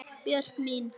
Björk mín.